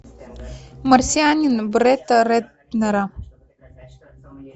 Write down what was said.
марсианин бретта рэтнера